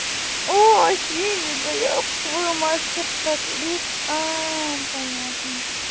осень еб твою мать что так а понятно